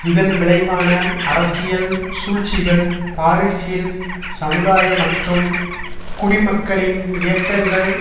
இதன் விளைவான அரசியல் சூழ்ச்சிகள் பாரிசில் சமுதாய மற்றும் குடிமக்களின் இயக்கங்கள்